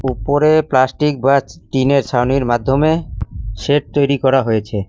উপরে প্লাস্টিক বা টিন -এর ছাউনির মাধ্যমে শেড তৈরি করা হয়েছে।